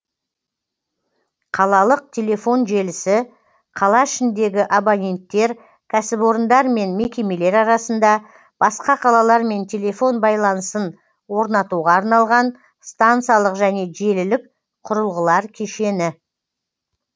қалалық телефон желісі қала ішіндегі абоненттер кәсіпорындар мен мекемелер арасында басқа қалалармен телефон байланысын орнатуға арналған стансалық және желілік құрылғылар кешені